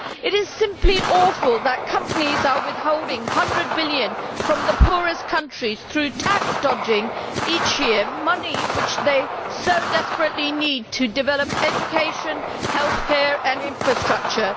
It is simply awful that companies are withholding a hundred billion from the poorest countries through tax dodging each year money which they so desperately need to develop education, health care and infrastructure.